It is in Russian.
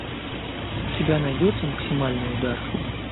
у тебя найдется максимальный удар